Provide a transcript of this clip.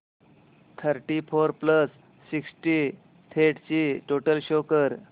thirty four plus sixty eight ची total show कर